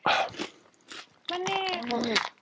মানেই